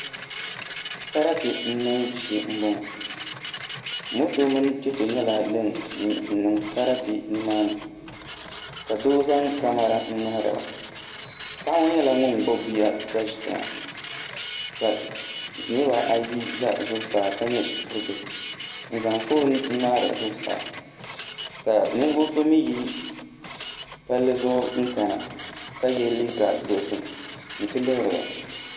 Sarati niŋbu shee n boŋo moto mini chɛchɛ nyɛla din niŋ sarati nimaani ka doo zaŋ kamɛra n ŋmahariba paɣa ŋo nyɛla ŋun gbubi bia ka ʒi tiŋa ka niraba ayi ʒɛ zuɣusaa ka nyɛ shikuru bihi n zaŋ foon ŋmaari zuɣusaa ka ninvuɣu so mii yi palii zuɣu kana ka yɛ liiga dozim n ti lihiriba